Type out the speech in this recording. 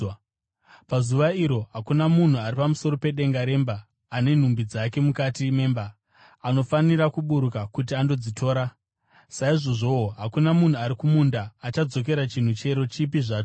Pazuva iro hakuna munhu ari pamusoro pedenga remba, ane nhumbi dzake mukati memba, anofanira kuburuka kuti andodzitora. Saizvozvowo, hakuna munhu ari kumunda achadzokera chinhu chero chipi zvacho.